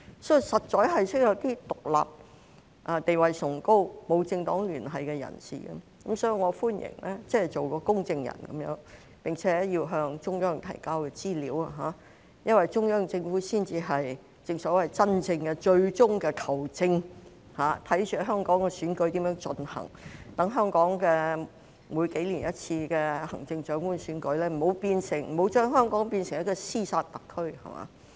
所以，實在需要一些獨立、地位崇高、沒有政黨聯繫的人士作為公證人，並且要向中央提交資料，因為中央政府才是真正最終的"球證"，看着香港選舉如何進行，讓每數年舉行一次的行政長官選舉不會把香港變成一個"屍殺特區"。